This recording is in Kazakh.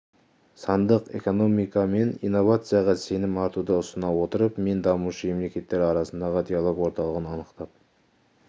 сандық экономика мен инновацияға сенім артуды ұсына отырып мен дамушы мемлекеттер арасындағы диалог орталығын анықтап